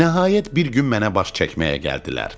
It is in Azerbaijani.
Nəhayət bir gün mənə baş çəkməyə gəldilər.